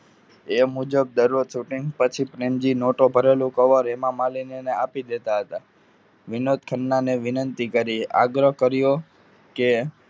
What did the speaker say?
એ મુજબ દરરોજ shooting પછી પ્રેમજી નોટો ભરેલું કવર હેમામાલીની ને આપી દેતા હતા. વિનોદ ખન્ના અને વિનંતી કરી આગ્રહ કર્યો કે